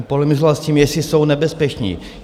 On polemizoval s tím, jestli jsou nebezpeční.